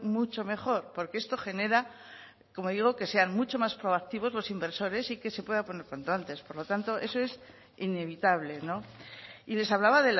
mucho mejor porque esto genera como digo que sean mucho más proactivos los inversores y que se pueda poner cuanto antes por lo tanto eso es inevitable y les hablaba